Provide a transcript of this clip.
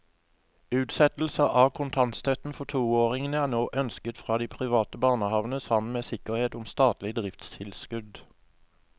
Utsettelse av kontantstøtten for toåringene er nå ønsket fra de private barnehavene sammen med sikkerhet om statlig driftstilskudd.